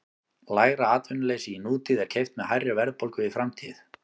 Lægra atvinnuleysi í nútíð er keypt með hærri verðbólgu í framtíð.